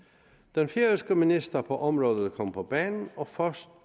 den færøske minister på området kom på banen og først